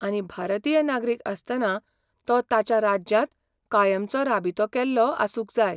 आनी भारतीय नागरीक आसतना तो ताच्या राज्यांत कायमचो राबितो केल्लो आसूंक जाय.